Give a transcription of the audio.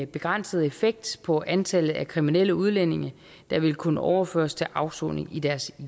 begrænset effekt på antallet af kriminelle udlændinge der vil kunne overføres til afsoning i deres